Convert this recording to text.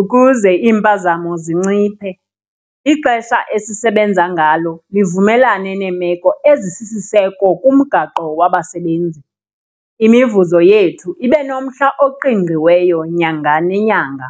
ukuze iimpazamo zinciphe, ixesha esisebenza ngalo livumelane neemeko ezisisiseko kumgaqo wabasebenzi, imivuzo yethu ibe nomhla oqingqiweyo nyanga nenyanga.